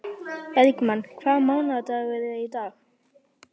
Bergmann, hvaða mánaðardagur er í dag?